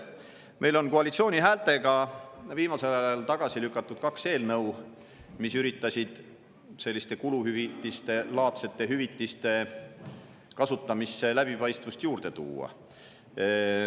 Meil on koalitsiooni häältega viimasel ajal tagasi lükatud kaks eelnõu, mis üritasid kuluhüvitiste laadse kasutamisse läbipaistvust juurde tuua.